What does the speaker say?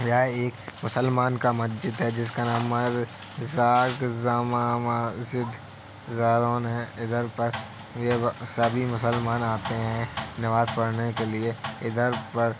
यह एक मुसलमान का मस्जिद है जिसका नाम मर जाग जमा व व ज़िद जालौन है इधर पर य सभी मुसलमान आते है नमाज़ पढ़ने के लिए इधर पर --